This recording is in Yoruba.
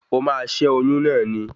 O máa ṣé oyún náà ni